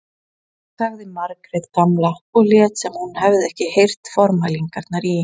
sagði Margrét gamla og lét sem hún hefði ekki heyrt formælingarnar í